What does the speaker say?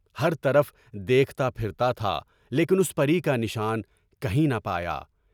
ہر طرف دیکھتا پھرتا تھا لیکن اُس پَری کا نشان کہیں نہ پایا۔